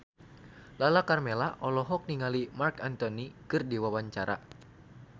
Lala Karmela olohok ningali Marc Anthony keur diwawancara